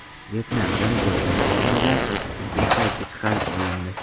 Vyetnamda mijozning qornidan tibbiy qaychi chiqarib olindi.